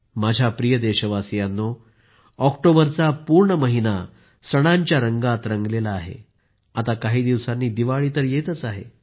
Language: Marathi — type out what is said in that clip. माझ्या प्रिय देशवासियांनो ऑक्टोबरचा पूर्ण महिना सणांच्या रंगात रंगला आहे आणि आता काही दिवसांनी दिवाळी तर येतच आहे